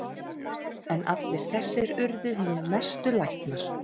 En allir þessir urðu hinir mestu læknar.